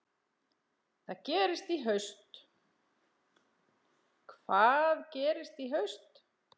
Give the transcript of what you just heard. Hvað gerist í haust?